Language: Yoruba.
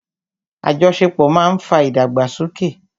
Àjọṣepọ̀ ma ń fa ìdàgbàsókè.